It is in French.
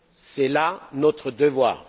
C'est là notre devoir.